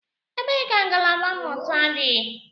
Ebee ka ngalaba mmụta dị?